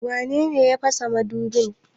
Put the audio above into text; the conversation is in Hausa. Wane ne ya fasa madubin?